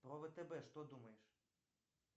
про втб что думаешь